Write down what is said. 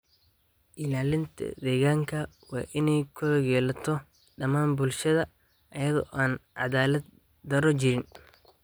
Ilaalinta deegaanka waa in ay ku lug yeelato dhammaan bulshada iyada oo aan caddaalad-darro jirin.